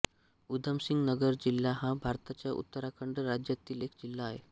उधमसिंग नगर जिल्हा हा भारताच्या उत्तराखंड राज्यातील एक जिल्हा आहे